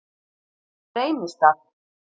Reynistað